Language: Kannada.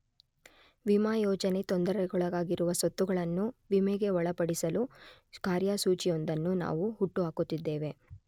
ವಿಮಾ ಯೋಜನೆ, ತೊಂದರೆಗೊಳಗಾಗಿರುವ ಸ್ವತ್ತುಗಳನ್ನು ವಿಮೆಗೆ ಒಳಪಡಿಸಲು ಕಾರ್ಯಸೂಚಿಯೊಂದನ್ನು ನಾವು ಹುಟ್ಟುಹಾಕುತ್ತಿದ್ದೇವೆ.